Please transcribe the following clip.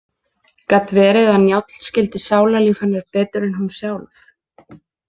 Gat verið að Njáll skildi sálarlíf hennar betur en hún sjálf?